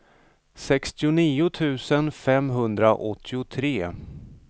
sextionio tusen femhundraåttiotre